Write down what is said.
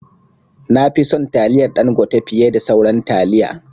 Nafi son taliyar Dangote fiye da sauran taliya